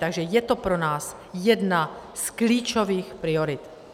Takže je to pro nás jedna z klíčových priorit.